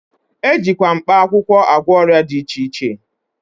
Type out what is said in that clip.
E ji mkpaakwụwkọ agwọ ọrịa dị iche iche